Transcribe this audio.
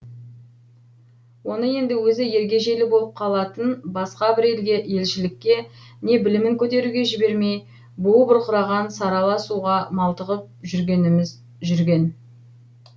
оны енді өзі ергежейлі болып қалатын басқа бір елге елшілікке не білімін көтеруге жібермей буы бұрқыраған сарала суға малтығып жүргеніміз жүрген